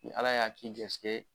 Ni ala y'a k'i garijɛgɛ ye